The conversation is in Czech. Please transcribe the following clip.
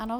Ano.